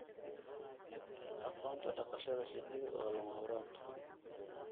Aqoonta dhaqashada shinnidu waa lama huraan.